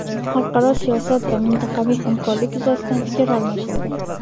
Xalqaro siyosat va mintaqaviy hamkorlik yuzasidan fikr almashildi.